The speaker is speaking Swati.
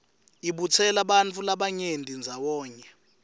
ibutsela bantfu labanyenti ndzawonye